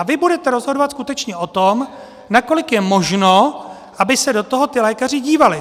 A vy budete rozhodovat skutečně o tom, nakolik je možno, aby se do toho ti lékaři dívali.